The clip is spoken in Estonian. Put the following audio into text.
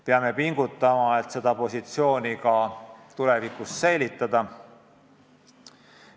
Peame pingutama, et seda positsiooni ka tulevikus säilitada.